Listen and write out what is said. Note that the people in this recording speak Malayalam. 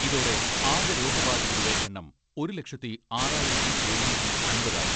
ഇതോടെ ആകെ രോഗബാധിതരുടെ എണ്ണം ഒരു ലക്ഷത്തി ആറായിരത്തി എഴുനൂറ്റി അമ്പത് ആയി.